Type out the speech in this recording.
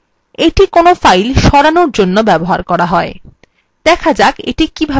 এইটি কোনো files সরানোর জন্য ব্যবহৃত হয় দেখা যাক এটি কিভাবে দরকারী